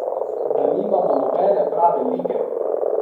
Da nimamo nobene prave lige?